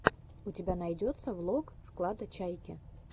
у тебя найдется влог склада чайки